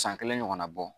San kelen ɲɔgɔnna bɔ